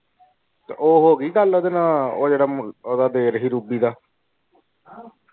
ਤੇ ਉਹ ਹੋ ਗਈ ਗੱਲ ਓਦੇ ਨਾਲ ਉਹ ਜੇੜਾ ਓਦਾਂ ਦੇ ਰਹੇ ਸੀ ਰੂਬੀ ਦਾ।